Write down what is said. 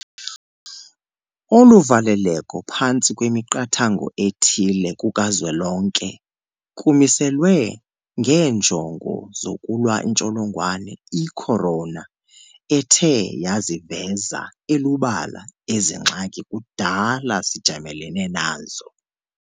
Olu valeleko phantsi kwemiqathango ethile kukazwelonke kumiselwe ngeenjongo zokulwa intsholongwane i-corona ethe yaziveze elubala ezi ngxaki kudala sijamelene nazo.